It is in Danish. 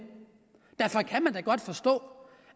derfor kan man da godt forstå